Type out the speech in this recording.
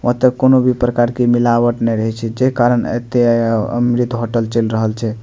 वहाँ तक कउनो भी प्रकार के मिलावट नहीं रहे छे जे कारण एते आओ अमृत होटल चल रहल छे।